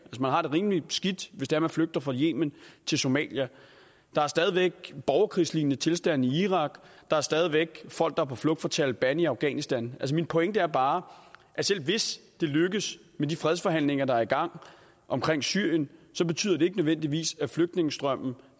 man har det rimelig skidt hvis det er man flygter fra yemen til somalia der er stadig væk borgerkrigslignende tilstande i irak der er stadig væk folk der er på flugt fra taleban i afghanistan min pointe er bare at selv hvis det lykkes med de fredsforhandlinger der er i gang om syrien betyder det ikke nødvendigvis at flygtningestrømmen